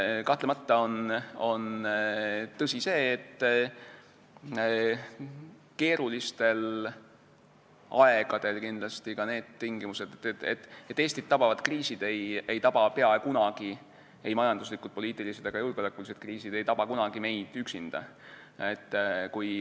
Kahtlemata on tõsi, et Eestit tabavad kriisid, ei majanduslikud, poliitilised ega julgeolekulised kriisid ei taba kunagi meid üksinda.